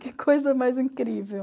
Que coisa mais incrível.